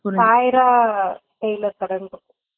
சாய்ரா இல்ல current